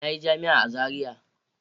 Na yi jami’a a Zaria.